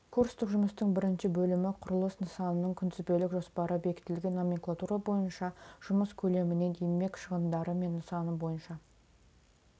курстық жұмыстың бірінші бөлімі құрылыс нысанының күнтізбелік жоспары бекітілген номенклатура бойынша жұмыс көлемінен еңбек шығындары мен нысан бойынша